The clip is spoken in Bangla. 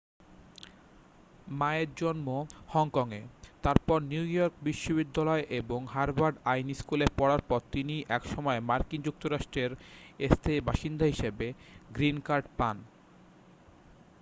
মা-এর জন্ম হংকং-এ তারপর নিউ ইয়র্ক বিশ্ববিদ্যালয় এবং হার্ভার্ড আইন স্কুলে পড়ার পর তিনি একসময় মার্কিন যুক্তরাষ্ট্রের স্থায়ী বাসিন্দা হিসাবে গ্রীন কার্ড পান